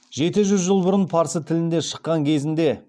жеті жүз жыл бұрын парсы тілінде шыққан кезінде